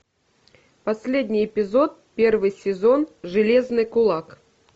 последний эпизод первый сезон железный кулак